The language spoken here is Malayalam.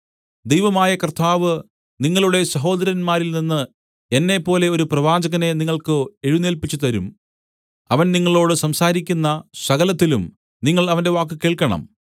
ദൈവമായ കർത്താവ് നിങ്ങളുടെ സഹോദരന്മാരിൽനിന്ന് എന്നെപ്പോലെ ഒരു പ്രവാചകനെ നിങ്ങൾക്ക് എഴുന്നേല്പിച്ചുതരും അവൻ നിങ്ങളോട് സംസാരിക്കുന്ന സകലത്തിലും നിങ്ങൾ അവന്റെ വാക്ക് കേൾക്കണം